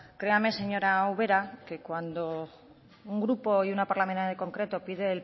créame señora ubera que cuando un grupo y una parlamentaria en concreto pide